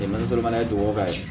Dɛmɛni feere fana ye duwawu ka ye